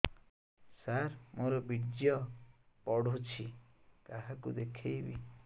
ସାର ମୋର ବୀର୍ଯ୍ୟ ପଢ଼ୁଛି କାହାକୁ ଦେଖେଇବି